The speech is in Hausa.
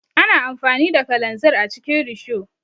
Ana amfani da kalanzir a cikin risho.